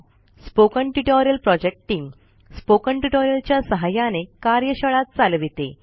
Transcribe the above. spoken tutorial project team spoken tutorial च्या सहाय्याने कार्यशाळा चालविते